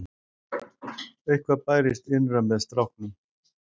Eitthvað bærist innra með stráknum.